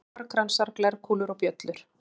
Óróar, kransar, glerkúlur og bjöllur.